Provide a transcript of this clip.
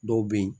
Dɔw be yen